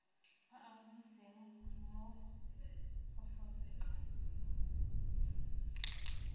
a a runtseng mo aforika